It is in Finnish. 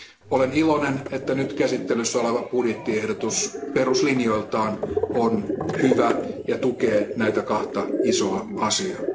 Olen iloinen, että nyt käsittelyssä oleva budjettiehdotus on peruslinjoiltaan hyvä ja tukee näitä kahta isoa asiaa.